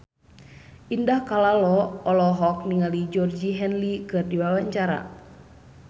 Indah Kalalo olohok ningali Georgie Henley keur diwawancara